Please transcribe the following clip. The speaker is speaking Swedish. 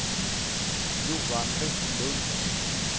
Johan Vestlund